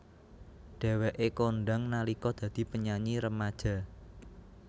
Dheweké kondhang nalika dadi penyanyi remaja